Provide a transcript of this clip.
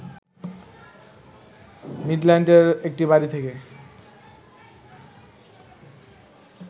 মিডল্যান্ডের একটি বাড়ী থেকে